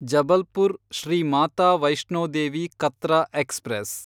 Jabalpur Shri Mata Vaishno Devi Katra express